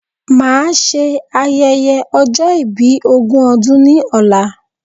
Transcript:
Màa ṣe ayẹyẹ ọjọ́ ìbí ogún ọdún ni ọ̀la